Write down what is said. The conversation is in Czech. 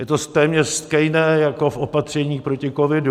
Je to téměř stejné jako v opatření proti covidu.